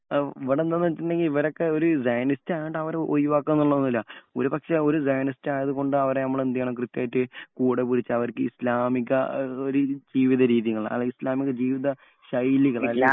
മമ് ഇവിടെ എന്താ എന്ന് വച്ചിട്ടുണ്ടെങ്കിൽ ഇവരൊക്കെ ഒരു സയനിസ്റ്റ് ആയിട്ട് അവരെ ഒഴിവാക്ക എന്നുള്ളതില്ല. ഒരു പക്ഷേ ഒരു സയനെറ്റ് ആയത് കൊണ്ട് അവരെ നമ്മൾ എന്ത് ചെയ്യണം കൃത്യമായിട്ട് കൂടെ വിളിച്ച് അവർക്ക് ഇസ്ലാമിക ജീവിത രീതികൾ ഇസ്ലാമിക ജീവിത ശൈലികൾ